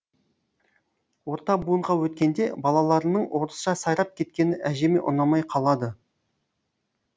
орта буынға өткенде балаларының орысша сайрап кеткені әжеме ұнамай қалады